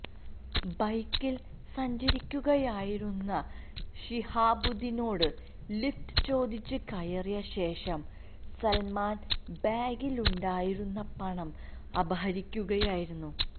ബൈക്കില് സഞ്ചരിക്കുകയായിരുന്ന ശിഹാബുദീനോട് ലിഫ്റ്റ് ചോദിച്ച് കയറിയ ശേഷം സല്മാന് ബാഗിലുണ്ടായിരുന്ന പണം അപഹരിക്കുകയായിരുന്നു